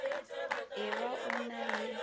e ba o na le